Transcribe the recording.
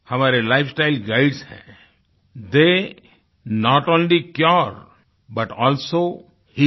हमारे lifestyle guides हैं थे not only cure but also heal